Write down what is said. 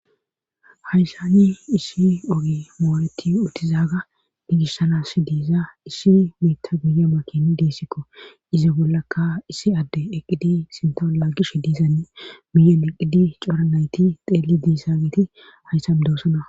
hayssani isshi ogi mooreti utizaaga digishsanas diiza isshi miitta guye makin diissikko iza bollakka issi adde eqqidi sinton laaggish diisanne miyon eqqidi coranayti xeelli diisa meti hayssam doosona